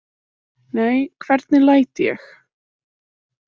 Nei, hvernig læt ég.